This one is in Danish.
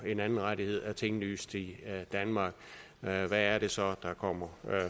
en anden rettighed er tinglyst i danmark hvad er det så der kommer